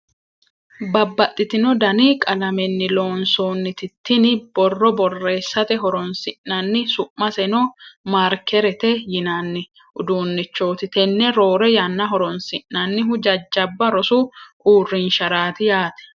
babbaxitino dani qalamenni loonsoonniti tini borro borreessate horonsi'nanni su'maseno markerete yinanni uduunnichooti. tenne roore yanna horonsi'nannihu jajjabba rosu uurrinsharaati yaate.